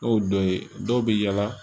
Ne y'o dɔ ye dɔw bɛ yaala